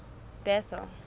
bethal